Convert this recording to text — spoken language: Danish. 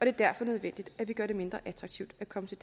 er derfor nødvendigt at vi gør det mindre attraktivt at komme til